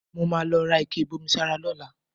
Mo máa lọ ra ike ìbomisára lọ́la